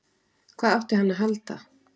Hvað átti hann að halda?